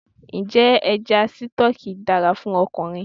Ǹjẹ́ Ẹja Sítọ́ọ́kì dára fún ọkùnrin?